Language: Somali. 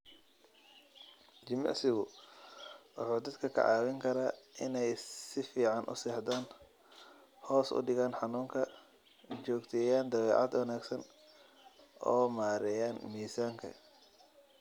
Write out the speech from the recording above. Jimicsigu wuxuu dadka ka caawin karaa inay si fiican u seexdaan, hoos u dhigaan xanuunka, joogteeyaan dabeecad wanaagsan, oo maareeyaan miisaanka.